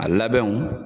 A labɛnw